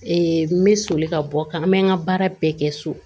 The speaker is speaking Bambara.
n bɛ soli ka bɔ ka n bɛ n ka baara bɛɛ kɛ so